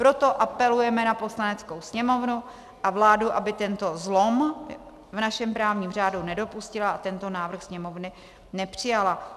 Proto apelujeme na Poslaneckou sněmovnu a vládu, aby tento zlom v našem právním řádu nedopustila a tento návrh Sněmovna nepřijala.